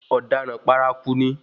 Ọ̀daràn paraku ni.